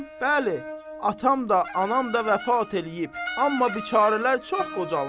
Bəli, atam da, anam da vəfat eləyib, amma biçarələr çox qocalmışdılar.